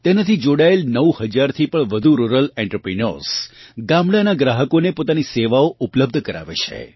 તેનાથી જોડાયેલ 9000 થી પણ વધુ રુરલ એન્ટરપ્રિન્યોર્સ ગામડાંનાં ગ્રાહકોને પોતાની સેવાઓ ઉપલબ્ધ કરાવે છે